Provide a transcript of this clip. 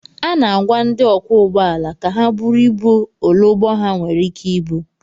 A na-agwa ndị ọkwọ ụgbọala ka ha buru ibu ole ụgbọ ala ha nwere ike ibu